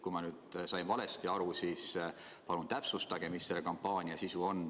Kui ma sain valesti aru, siis palun täpsustage, mis selle kampaania sisu on.